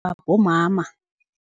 bomama.